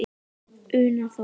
Una Þórey.